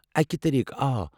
اکہِ طٔریقہٕ، آ۔